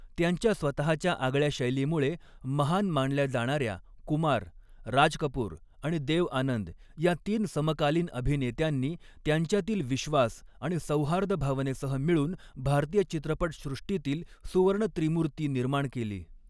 त्यांच्या स्वतःच्या आगळ्या शैलीमुळे महान मानल्या जाणाऱ्या कुमार, राज कपूर आणि देव आनंद या तीन समकालीन अभिनेत्यांनी, त्यांच्यातील विश्वास आणि सौहार्दभावनेसह, मिळून भारतीय चित्रपटसृष्टीतील 'सुवर्ण त्रिमूर्ति' निर्माण केली.